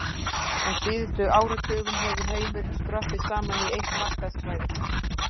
Á síðustu áratugum hefur heimurinn skroppið saman í eitt markaðssvæði.